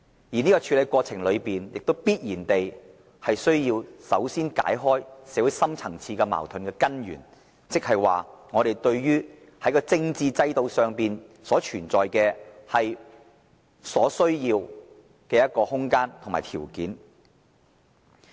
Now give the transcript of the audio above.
而在處理的過程中，必須首先解開社會深層次矛盾的根源，創造我們對於政治制度改革所需要的空間和條件。